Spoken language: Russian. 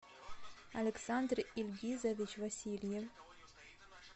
александр ильгизович васильин